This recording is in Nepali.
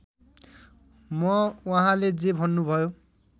म उहाँले जे भन्नुभयो